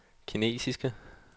kinesiske